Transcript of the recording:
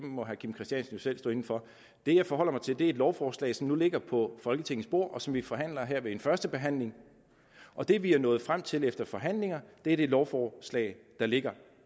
det må herre kim christiansen selv stå inde for det jeg forholder mig til er et lovforslag som nu ligger på folketingets bord og som vi forhandler her ved en førstebehandling og det vi er nået frem til efter forhandlinger er det lovforslag der ligger